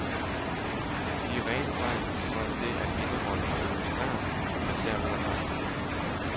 De er rene tegn for det at indeholde og demonstrere, at man derved er magtfuld.